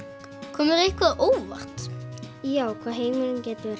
kom þér eitthvað á óvart já hvað heimurinn getur